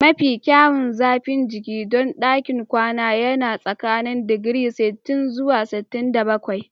Mafi kyawun zafin jiki don ɗakin kwana yana tsakanin digiri sittin zuwa sittin da bakwai